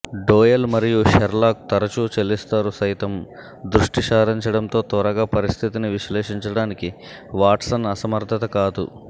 dual మరియు Sherlock తరచూ చెల్లిస్తారు సైతం దృష్టిసారించడంతో త్వరగా పరిస్థితిని విశ్లేషించడానికి వాట్సన్ అసమర్థత కాదు